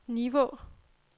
Nivå